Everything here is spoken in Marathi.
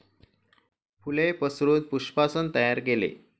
फूले पसरून पुष्पासन तैयार केले.